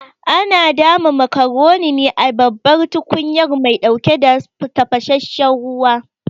Ana dama macaroni ne a babban tukunyar mai ɗauke da tafasasshen ruwa